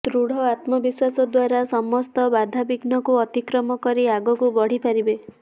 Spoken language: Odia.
ଦୃଢ ଆତ୍ମ ବିଶ୍ୱାସ ଦ୍ୱାରା ସମସ୍ତ ବାଧାବିଘ୍ନକୁ ଅତିକ୍ରମ କରି ଆଗକୁ ବଢିପାରିବେ